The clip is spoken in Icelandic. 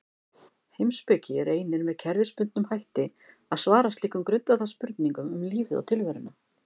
Heimspeki reynir með kerfisbundnum hætti að svara slíkum grundvallarspurningum um lífið og tilveruna.